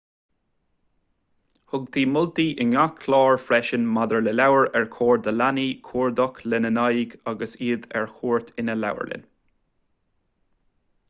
thugtaí moltaí in ngach clár freisin maidir le leabhair ar chóir do leanaí cuardach lena n-aghaidh agus iad ar cuairt ina leabharlann